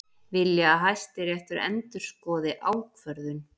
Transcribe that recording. Vilja að Hæstiréttur endurskoði ákvörðun